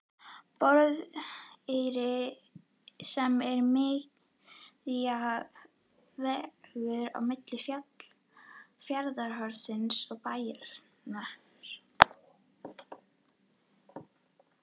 Borðeyri sem er miðja vegu á milli Fjarðarhorns og Bæjar.